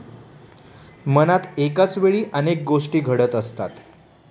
मनात एकाचवेळी अनेक गोष्टी घडत असतात.